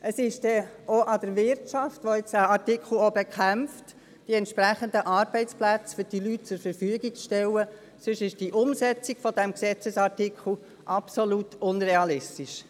Es liegt auch an der Wirtschaft, welche diesen Artikel bekämpft, die entsprechenden Arbeitsplätze für diese Leute zur Verfügung zu stellen, sonst ist die Umsetzung dieses Gesetzesartikels absolut unrealistisch.